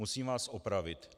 Musím vás opravit.